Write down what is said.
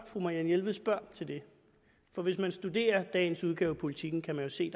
at fru marianne jelved spørger til det for hvis man studerer dagens udgave af politiken kan man jo se